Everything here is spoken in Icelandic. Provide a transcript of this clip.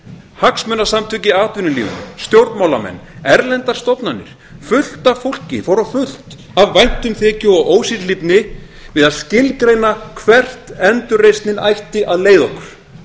hagsmunasamtök í atvinnulífinu stjórnmálamenn erlendar stofnanir fullt af fólki fór á fullt af væntumþykju og ósérhlífni við að skilgreina hvert endurreisnin ætti að leiða okkur